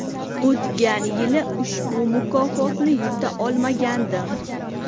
O‘tgan yili ushbu mukofotni yuta olmagandim.